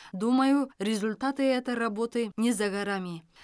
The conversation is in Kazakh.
думаю результаты этой работы не за горами